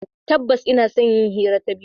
Tabbas, ina son yin hira ta bidiyo.